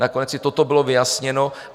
Nakonec i toto bylo vyjasněno.